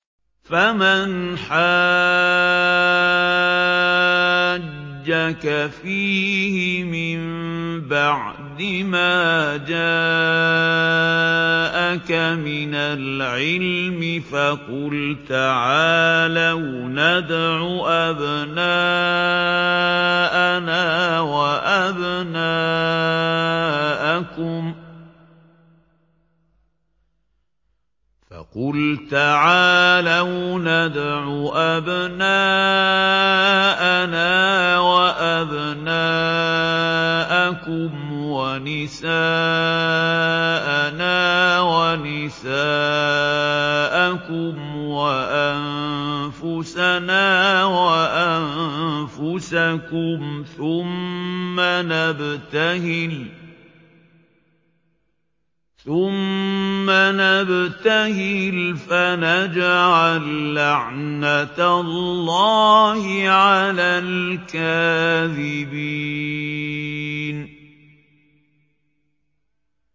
فَمَنْ حَاجَّكَ فِيهِ مِن بَعْدِ مَا جَاءَكَ مِنَ الْعِلْمِ فَقُلْ تَعَالَوْا نَدْعُ أَبْنَاءَنَا وَأَبْنَاءَكُمْ وَنِسَاءَنَا وَنِسَاءَكُمْ وَأَنفُسَنَا وَأَنفُسَكُمْ ثُمَّ نَبْتَهِلْ فَنَجْعَل لَّعْنَتَ اللَّهِ عَلَى الْكَاذِبِينَ